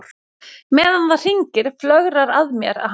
Meðan það hringir flögrar að mér að hann viti af þeim.